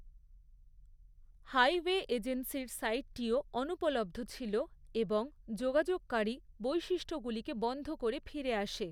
Highway এজেন্সির সাইটটিও অনুপলব্ধ ছিল এবং যোগাযোগকারী, বৈশিষ্ট্যগুলিকে বন্ধ করে ফিরে আসে।